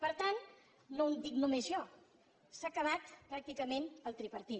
per tant no ho dic només jo s’ha acabat pràcticament el tripartit